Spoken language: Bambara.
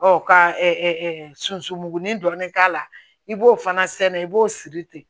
Ɔ ka sunsun mugan dɔɔnin k'a la i b'o fana sɛnɛ i b'o siri ten